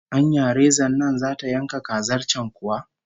Anya rezan nan zata yanka kazar can kuwa?